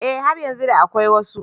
Eh har yanzu da akwai wasu.